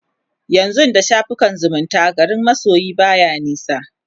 yanzun da shafukan zumunta garin masoyi baya nisa